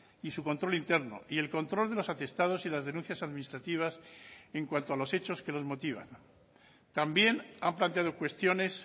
y su control interno y el control de los atestados y las denuncias administrativas en cuanto a los hechos que los motivan también han planteado cuestiones